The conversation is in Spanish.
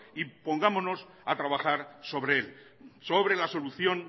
y pongamos a trabajar sobre él sobre la solución